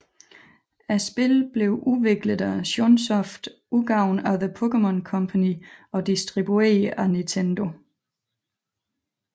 Spillene belv udviklet af Chunsoft udgivet af The Pokémon Company og distribueret af Nintendo